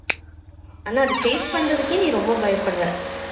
ஆனா அத face பண்ணுறதுக்கே நீ ரொம்ப பயப்படுற